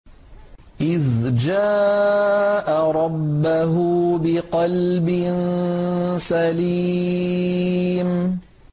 إِذْ جَاءَ رَبَّهُ بِقَلْبٍ سَلِيمٍ